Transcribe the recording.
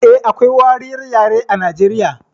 Eh, akwai wariyar yare a Nijeriya